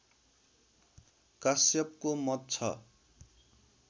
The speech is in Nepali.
काश्यपको मत छ